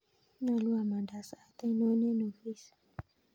Nyolu amandaa sait ainon en ofis